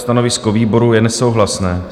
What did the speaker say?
Stanovisko výboru je nesouhlasné.